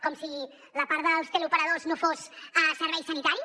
com si la part dels teleoperadors no fos servei sanitari